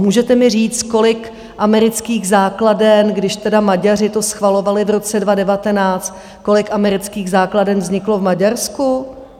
Můžete mi říct, kolik amerických základen, když teda Maďaři to schvalovali v roce 2019, kolik amerických základen vzniklo v Maďarsku?